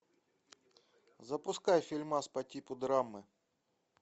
запускай фильмас по типу драмы